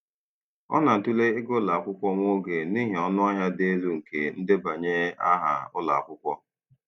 Ọ na-atụle ịga ụlọ akwụkwọ nwa oge n'ihi ọnụ ahịa dị elu nke ndebanye aha ụlọ akwụkwọ.